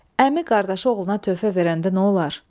Əmi qardaşı oğluna töhfə verəndə nə olar?